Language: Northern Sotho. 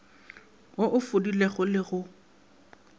wo o fodilego le go